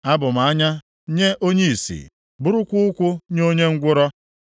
Abụ m anya nye onye ìsì, bụrụkwa ụkwụ nye onye ngwụrọ.